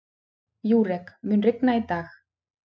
Júrek, mun rigna í dag?